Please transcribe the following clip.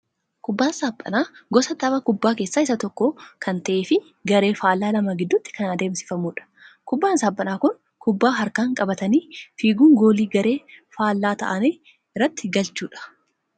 Kubbaan saaphanaa gosa tapha kubbaa keessaa isa tokko kan ta'ee fi garee faallaa lama gidduutti kan adeemsifamudha. Kubbaan saaphanaa Kun, kubbaa harkaan qabatanii fiiguun goolii garee faallaa ta'anii irratti galchuudha.